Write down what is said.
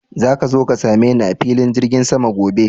Zaka zo ka same ni a filin jirgin sama gobe?